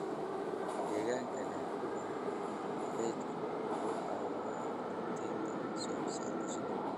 Deegaanka leh ubax xilliyeedku wuxuu caawiyaa joogteynta wax soo saarka shinnida.